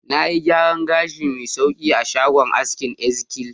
Na yi gyaran gashi mai sauƙi a shagon askinEzekiel.